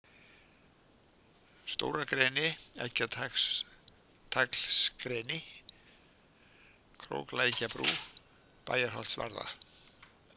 Stóragreni, Eggjataglsgreni, Króklækjarbrú, Bæjarholtsvarða